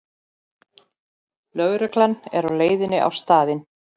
Lögregla er á leiðinni á staðinn